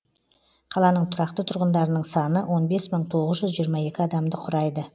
қаланың тұрақты тұрғындарының саны он бес мың тоғыз жүз жиырма екі адамды құрайды